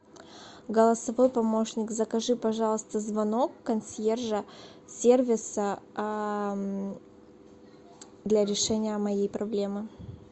голосовой помощник закажи пожалуйста звонок консьержа сервиса для решения моей проблемы